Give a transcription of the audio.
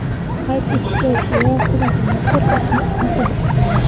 Qayd etish joiz, Eron hukumati mazkur faktni inkor etgandi.